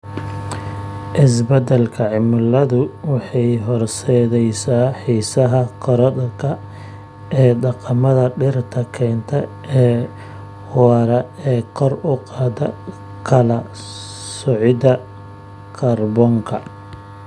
Isbeddelka cimiladu waxay horseedaysaa xiisaha korodhka ee dhaqamada dhirta kaynta ee waara ee kor u qaada kala soocida kaarboonka.